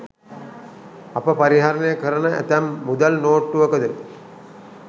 අප පරිහරණය කරන ඇතැම් මුදල් නෝට්ටුවකද